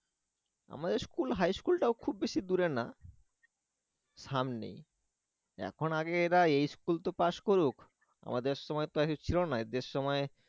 আমাদের school high school টাও খুব বেশি দূরে না সামনেই এখন আগে এরা এই school তো পাস করুক আমাদের সময় তো এসব ছিল না এদের সময়